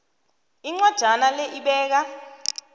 incwajana le ibeka